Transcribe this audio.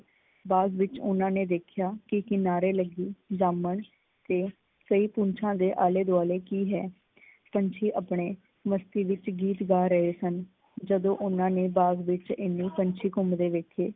ਬਾਗ ਵਿੱਚ ਓਹਨਾਂ ਨੇ ਦੇਖਿਆ ਕੀ ਕਿਨਾਰੇ ਲੱਗੀ ਦਮਨ ਤੇ ਕਈ ਕੂੰਛਾਂ ਦੇ ਆਲੇ ਦੁਆਲੇ ਕੀ ਹੈ? ਪੰਛੀ ਆਪਣੇ ਮਸਤੀ ਵਿੱਚ ਗੀਤ ਗਾ ਰਹੇ ਸਨ, ਜਦੋਂ ਓਹਨਾਂ ਨੇ ਬਾਗ਼ ਵਿੱਚ ਇੰਨੇ ਪੰਛੀ ਘੁਮੰਦੇ ਵੇਖੇ।